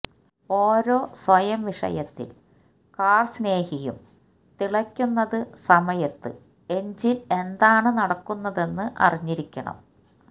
ഓരോ സ്വയം വിഷയത്തിൽ കാർ സ്നേഹിയും തിളയ്ക്കുന്നത് സമയത്ത് എൻജിൻ എന്താണ് നടക്കുന്നതെന്ന് അറിഞ്ഞിരിക്കണം